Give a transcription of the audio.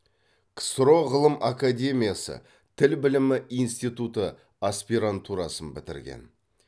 ксро ғылым академиясы тіл білімі институты аспирантурасын бітірген